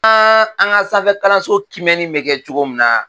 An an ka sanfɛ kalanso kiimɛni bɛ kɛ cogo min na